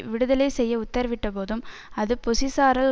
விடுதலை செய்ய உத்தரவிட்டபோதும் அது பொஸிசாரால்